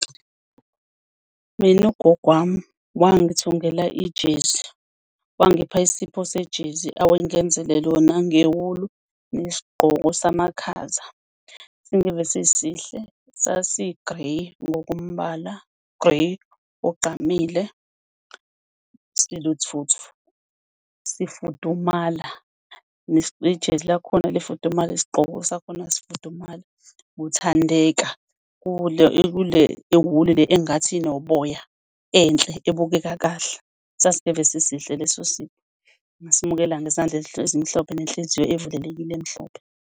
Mina ugogo wami wangithungela ijezi, wangipha isipho sejezi, awangenzele lona ngewulu, nesigqoko samakhaza. Singeve sisihle sasi-grey ngokombala, u-grey ogqamile , sifudumala nejezi lakhona lifudumale, nesigqoko sakhona sifudumala, lithandeka. Le wulu le engathi inoboya enhle, ebukeka kahle. Sasingeve sisihle leso sipho, ngasamukela ngezandla ezimhlophe nenhliziyo evulelekile emhlophe.